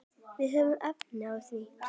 Við höfum efni á því.